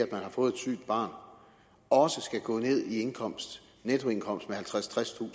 man har fået et sygt barn også skal gå ned i nettoindkomst med halvtredstusind